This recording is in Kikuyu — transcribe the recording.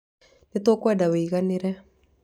Nĩ tũkwenda ũiganĩre.